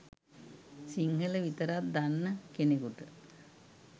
සිංහල විතරක් දන්න කෙනෙකුට